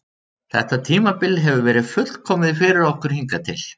Þetta tímabil hefur verið fullkomið fyrir okkur hingað til.